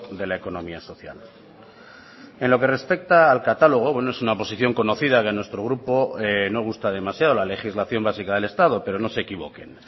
de la economía social en lo que respecta al catálogo bueno es una posición conocida que nuestro grupo no gusta demasiado la legislación básica del estado pero no se equivoquen